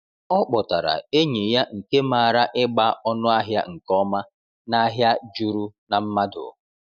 O kpọtara enyi ya nke maara ịgba ọnụahịa nke ọma n’ahịa juru na mmadụ.